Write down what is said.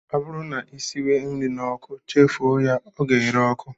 Ọ bụrụ na ị siwe nri n'ọkụ chefuo ya, ọ ga-ere ọkụ